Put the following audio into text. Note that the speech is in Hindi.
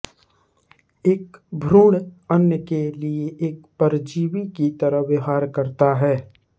एक भ्रूण अन्य के लिए एक परजीवी की तरह व्यवहार करता है